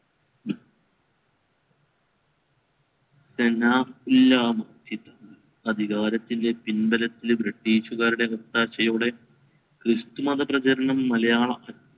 അധികാരത്തിൻറെ പിൻബലത്തിൽ british കാരുടെ ഒത്താശയോടെ ക്രിസ്തുമത പ്രചാരണം മലയാള